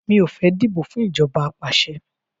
Mi ò fẹ́ dìbò fún ìjọba apàṣẹ